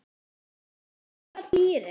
Borða dýrin?